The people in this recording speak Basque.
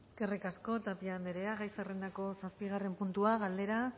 eskerrik asko tapia andrea gai zerrendako zazpigarren puntua galdera